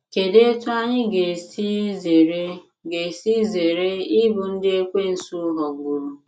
Kedụ etú anyị ga esi zere ga esi zere ịbụ ndị Ekwensu ghọgburu?